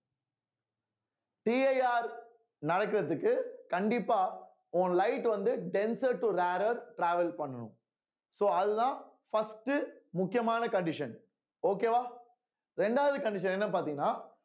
CIR நடக்கிறதுக்கு கண்டிப்பா உன் light வந்து denser to rarer travel பண்ணணும் so அதுதான் first உ முக்கியமான condition okay வா இரண்டாவது condition என்னன்னு பார்த்தீங்கன்னா